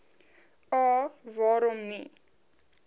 a waarom nie